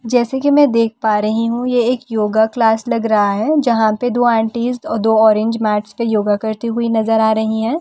जैसे की मैं देख पा रही हूँ ये एक योगा क्लास लग रहा है जहाँ पे दो आंटीस दो ऑरेंज मैटस पे योगा करती हुई नज़र आ रही है ।